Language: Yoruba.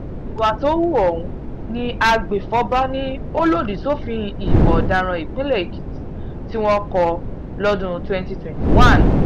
ìwà tó hu ọ̀hún ní agbèfọ́ba ni ó lòdì sófin ìwà ọ̀daràn ìpínlẹ̀ èkìtì tí wọ́n kó lọ́dún twenty twenty one